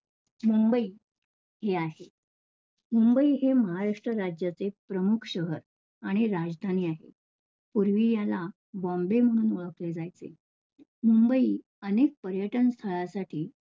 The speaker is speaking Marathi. मुंबई हे आहे. मुंबई हे महाराष्ट्र राज्याचे एक प्रमुख शहर आणि राजधानी आहे. पूर्वी याला बॉम्बे म्हणून ओळखले जायचे. मुंबई अनेक पर्यटन स्थाळा साठी